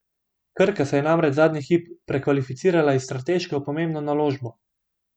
Krka se je namreč zadnji hip prekvalificirala iz strateške v pomembno naložbo.